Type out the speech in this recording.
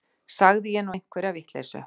Sagði ég nú einhverja vitleysu.